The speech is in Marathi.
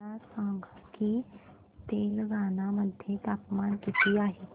मला सांगा की तेलंगाणा मध्ये तापमान किती आहे